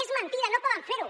és mentida no poden fer ho